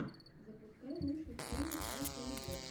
запускай лучшую серию ай полебот